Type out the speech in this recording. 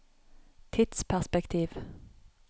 tidsperspektiv